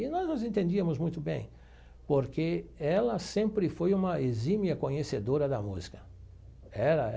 E nós nos entendíamos muito bem, porque ela sempre foi uma exímia conhecedora da música ela.